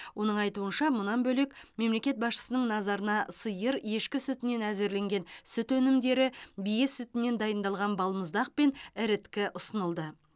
оның айтуынша мұнан бөлек мемлекет басшысының назарына сиыр ешкі сүтінен әзірленген сүт өнімдері бие сүтінен дайындалған балмұздақ пен іріткі ұсынылды